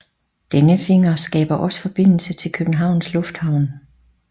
Denne finger skaber også forbindelse til Københavns Lufthavn